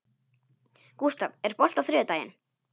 Gústaf, er bolti á þriðjudaginn?